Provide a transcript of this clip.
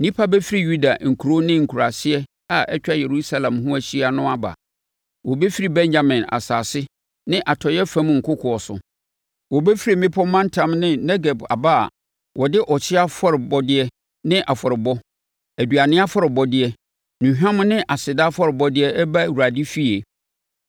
Nnipa bɛfiri Yuda nkuro ne nkuraase a atwa Yerusalem ho ahyia no aba. Wɔbɛfiri Benyamin asase ne atɔeɛ fam nkokoɔ so. Wɔbɛfiri mmepɔ mantam ne Negeb aba a wɔde ɔhyeɛ afɔrebɔdeɛ ne afɔrebɔ, aduane afɔrebɔdeɛ, nnuhwam ne aseda afɔrebɔdeɛ reba Awurade efie.